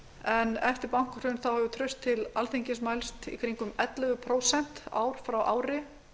en eftir bankahrun hefur traust til alþingis mælst í kringum ellefu prósent ár frá ári